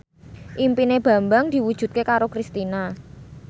impine Bambang diwujudke karo Kristina